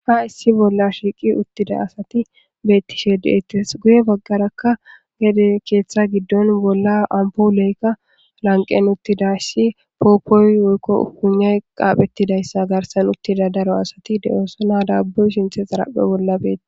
ha issi bolla shiiqi uttida asati bettishe deettes guye baggarakka gede keeththa giddon bolla ampuoleykka lanqen uttidassi pooppoy woykko upunay qaaphettidayssa garsan uttida daro asati de7oosona daabbuy shinthe xaraphe bolla beeti